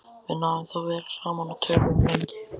Við náðum þó vel saman og töluðum lengi.